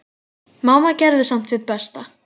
Mamma gerði samt sitt besta.